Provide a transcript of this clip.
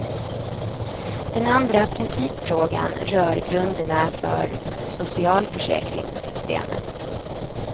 Den andra principfrågan rör grunderna för socialförsäkringssystemet.